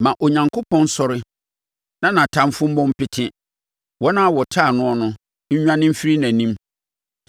Ma Onyankopɔn nsɔre, na nʼatamfoɔ mmɔ mpete; wɔn a wɔtane noɔ no nnwane mfiri nʼanim.